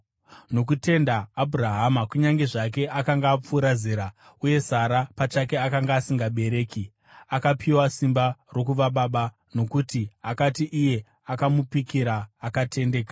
Nokutenda Abhurahama, kunyange zvake akanga apfuura zera, uye Sara pachake akanga asingabereki, akapiwa simba rokuva baba, nokuti akati iye akamupikira akatendeka.